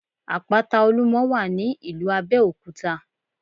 Àpáta Olúmo wà ní ìlú Abéòkúta